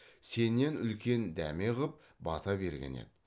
сенен үлкен дәме ғып бата берген еді